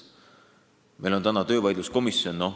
Meil on olemas töövaidluskomisjon.